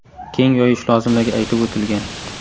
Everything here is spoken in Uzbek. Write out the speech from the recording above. keng yoyish lozimligi aytib o‘tilgan.